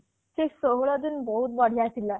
ସେ ଷୋହଳ ଦିନ ବହୁତ ବଢ଼ିଆ ଥିଲା